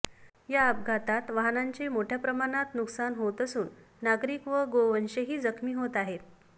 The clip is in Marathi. या अपघातात वाहनाचे मोठ्याप्रमाणात नुकसान होत असून नागरिक व गोवंशही जखमी होत आहेत